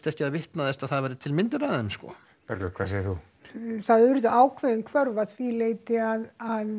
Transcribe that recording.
ekki að það vitnaðist að það væru til myndir af þeim Bergljót hvað segir þú það urðu ákveðin hvörf að því leyti að